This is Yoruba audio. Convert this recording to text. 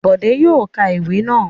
Bọ̀dé yóò ka ìwé náà.